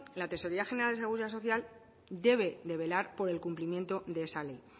la tesorería general de la seguridad social debe de velar por el cumplimiento de esa ley